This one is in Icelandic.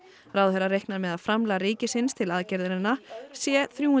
ráðherra reiknar með að framlag ríkisins til aðgerðanna sé þrjú